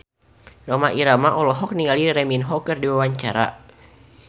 Rhoma Irama olohok ningali Lee Min Ho keur diwawancara